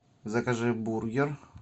закажи бургер